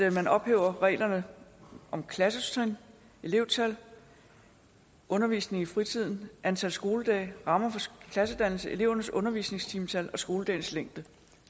at man ophæver reglerne om klassetrin elevtal undervisning i fritiden antal skoledage rammer for klassedannelse elevernes undervisningstimetal og skoledagens længde